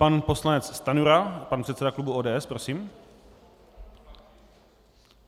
Pan poslanec Stanjura, pan předseda klubu ODS, prosím.